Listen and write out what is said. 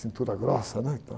Cintura grossa, né? Então...